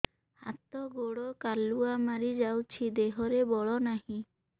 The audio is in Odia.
ହାତ ଗୋଡ଼ କାଲୁଆ ମାରି ଯାଉଛି ଦେହରେ ବଳ ନାହିଁ